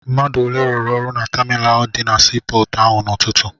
Mmadụ ole rụrụ na taminalụ dị na sii pọọtụ ahụ n'ụtụtụ?